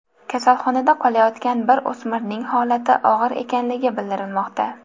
Kasalxonada qolayotgan bir o‘smirning holati og‘ir ekanligi bildirilmoqda.